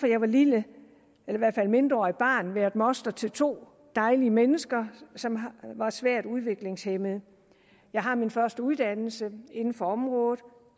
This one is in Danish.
jeg var lille eller i hvert fald mindreårigt barn været moster til to dejlige mennesker som var svært udviklingshæmmede jeg har min første uddannelse inden for området